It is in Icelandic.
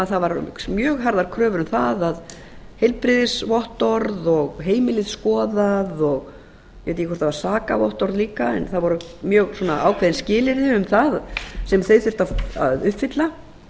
það voru mjög harðar kröfur um það heilbrigðisvottorð og heimilið skoðað ég veit ekki hvort það var sakavottorð líka en það voru mjög ákveðin skilyrði um það sem þau þurftu að uppfylla